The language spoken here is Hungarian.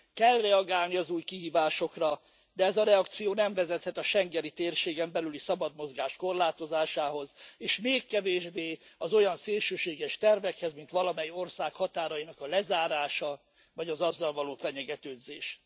Kell reagálni az új kihívásokra, de ez a reakció nem vezethet a schengeni térségen belüli szabad mozgás korlátozásához, és még kevésbé az olyan szélsőséges tervekhez, mint valamely ország határainak a lezárása, vagy az azzal való fenyegetőzés.